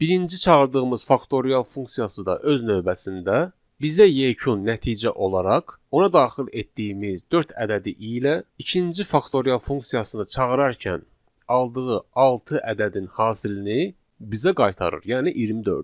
Birinci çağırdığımız faktorial funksiyası da öz növbəsində bizə yekun nəticə olaraq ona daxil etdiyimiz dörd ədədi ilə ikinci faktorial funksiyasını çağırarkən aldığı altı ədədin hasilini bizə qaytarır, yəni 24-ü.